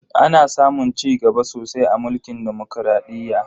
Ana samun cigaba sosai a mulkin demokradiyya.